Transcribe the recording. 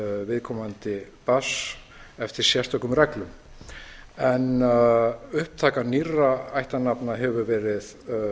viðkomandi barns eftir sérstökum reglum en upptaka nýrra ættarnafna hefur verið